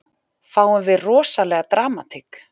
Fáum við rosalega dramatík?